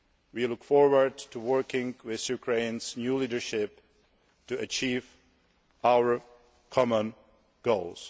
We look forward to working with Ukraine's new leadership to achieve our common goals.